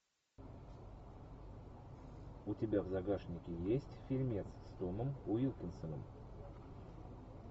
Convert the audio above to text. у тебя в загашнике есть фильмец с томом уилкинсоном